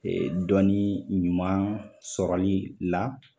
dɔnni ɲuman sɔrɔli la